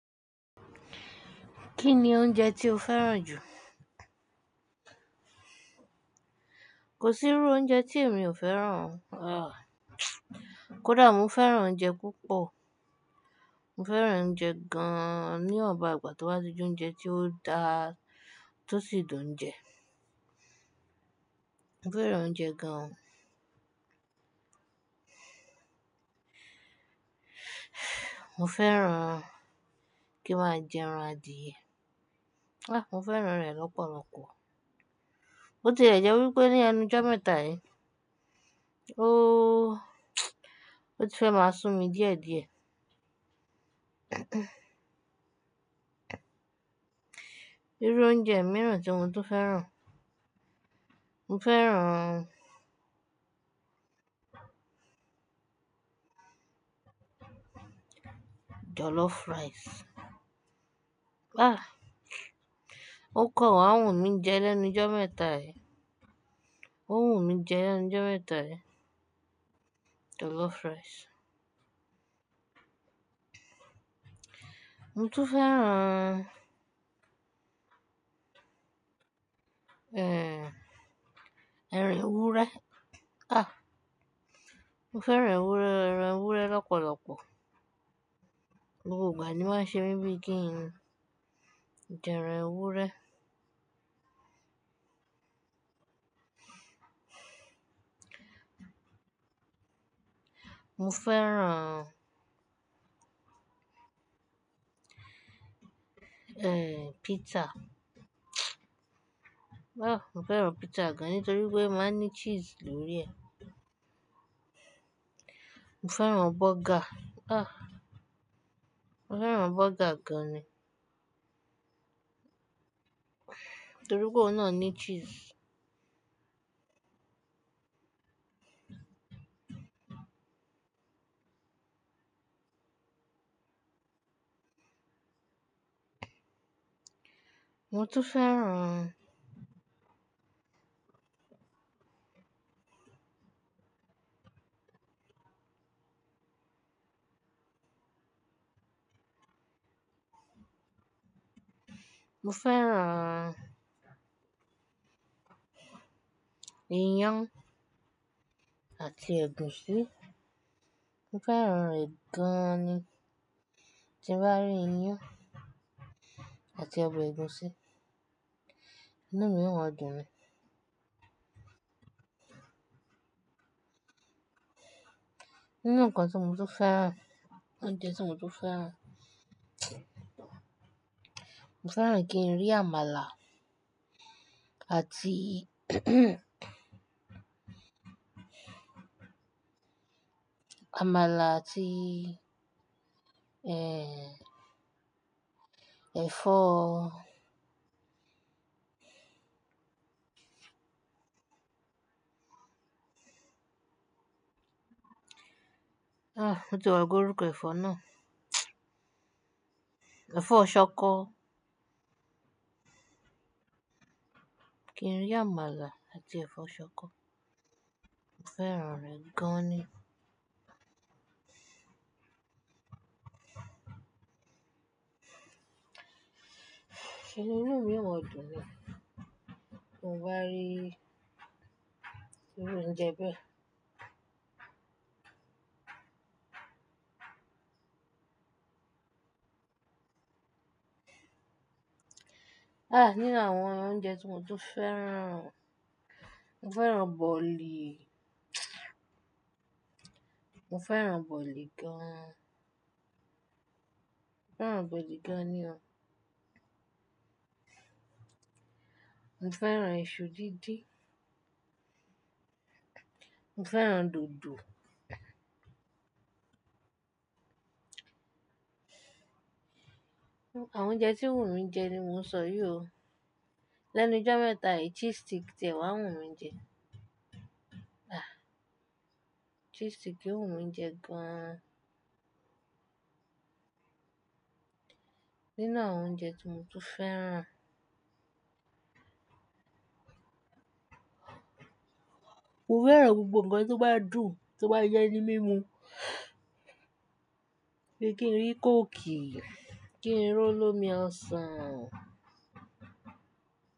Kí ni oúnjẹ tí o fẹ́ràn jù? Kò sí irú oúnjẹ tí èmi ò fẹ́ràn o. Ah! Kódà mo fẹ́ràn oúnjẹ púpọ̀. Mo fẹ́ràn oúnjẹ gan-an ni iwon igbà tó bá ti je oúnjẹ tí ó da, tó sì dùn ń jẹ. Mo fẹ́ràn oúnjẹ gan. Mo fẹ́ràn kí maá jẹ ẹran adíyẹ. Ah! Mo fẹ́ràn rẹ̀ lọ́pọ̀lọpọ̀. Ó ti ẹ jẹ wípé ni ẹ́nu jometa yìí, óò ó ti fẹ́ máa sumi díẹ̀díẹ̀. Irú oúnjẹ mìíràn tí mo tún fẹ́ràn, mo fẹ́ràn jollof rice. Ah! Ó kọ wa wunmi jẹ́ lẹ́nu jomẹta yìí. Ó wùmí jẹ́ lẹ́nu jomẹta yìí, jollof rice. Mo tún fẹ́ràn ẹran ewúrẹ́. Ah! Mo fẹ́ran ewúrẹ́, ẹran ewúrẹ́ lọ́pọ̀lọpọ̀. Gbogbo igba ni o máa ṣe mi bíi kí n jẹ ẹran ewúrẹ́. Mo fẹ́ràn ẹ, pizza. Ah! Mo fẹ́ràn pizza gan an nítorí pé o máa ń ní cheese lórí ẹ̀. Mo fẹ́ràn burger. Ah! Mo fẹ́ràn burger gan an ni, nítorí pé oun náà ní cheese. Mo tún fẹ́ràn Mo fẹ́ràn iyán àti ẹ̀gúsí. Mo fẹ́ràn rẹ̀ gan-an ni. Tí bá rí iyán àti ọbẹ̀ ẹ̀gúsí, inú mi oma dùn ni. Nínú nǹkan tí mo tún fẹ́ràn, oúnjẹ tí mo tún fẹ́ràn, mo fẹ́ràn kí n rí àmàlà àtii àmàlà àti ẹ, ẹ̀fọ́, Ah! Mo ti gbàgbé orúkọ ẹ̀fọ́ náà? Ẹ̀fọ́ ṣọkọ. Kí n rí àmàlà àti ẹ̀fọ́ ṣọkọ, mo fẹ́ràn rẹ̀ gan-an ni. Kí ni inú mi o maa dùn ni. Bi mo bá rií irú oúnjẹ bẹ́ẹ̀. Ah! Nínú àwọn oúnjẹ tí mo tún fẹ́ràn, mo fẹ́ràn bọ̀lì. Mo fẹ́ràn bọ̀lì gan-an. Mo fẹ́ràn bọ̀lì gan-an ni o. Mo fẹ́ràn iṣu díndín. Mo fẹ́ràn dòdò. Àwọn oúnjẹ tí o wùnmi jẹ́ ni mò ń sọ yìí o. Lẹ́nu jọmẹta yìí, cheese stick tẹ̀ wá wùnmi jẹ. Ah! Cheese stick o wunmi jẹ gan an. Nínú àwọn oúnjẹ tí mo tún fẹ́ràn Mo fẹ́ràn gbogbo nǹkan tó bá dùn, tó bá jẹ ní mímu. Bí kí n rí Coke ki, kí n rí olómi ọsàn.